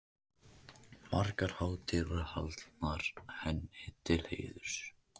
Margar hátíðir voru haldnar henni til heiðurs.